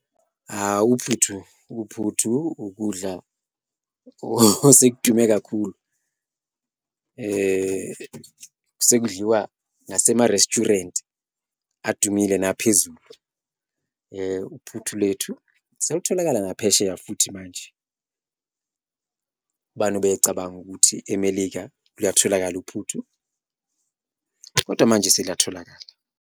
Hha, uphuthu uphuthu ukudla osekudume kakhulu sekudliwa nasema-resturant adumile naphezulu, uphuthu lethu selutholakala naphesheya futhi manje. Ubani obecabanga ukuthi eMelika luyatholakala uphuthu kodwa manje seluyatholakala.